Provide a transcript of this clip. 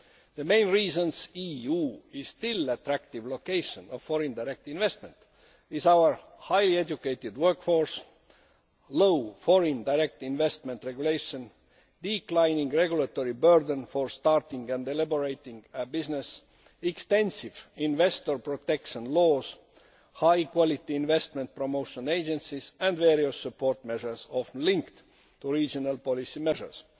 The main reasons the EU is still an attractive location for foreign direct investment is our highly educated workforce, low foreign direct investment regulations, declining regulatory burdens for starting and elaborating a business, extensive investor protection laws, high quality investment promotion agencies and various support measures often linked to regional policy measures.